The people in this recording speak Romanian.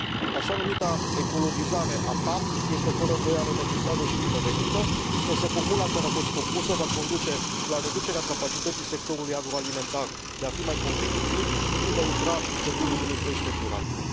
Așa numita ecologizare a PAC este fără îndoială necesară și binevenită, însă formula în care a fost propusă va conduce la reducerea capacității sectorului agroalimentar de a fi mai competitiv și de a intra pe drumul unei creșteri durabile.